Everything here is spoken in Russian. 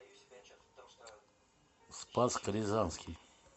спасск рязанский